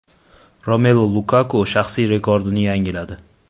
Romelu Lukaku shaxsiy rekordini yangiladi.